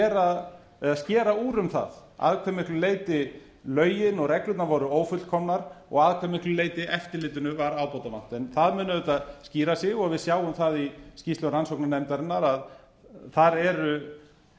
að skera úr um það að hve miklu leyti lögin og reglurnar voru ófullkomnar og að hve miklu leyti eftirlitinu var ábótavant það mun auðvitað skýra sig og við sjáum það í skýrslu rannsóknarnefndarinnar að þar eru